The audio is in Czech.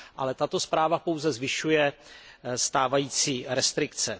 Ale tato zpráva pouze zvyšuje stávající restrikce.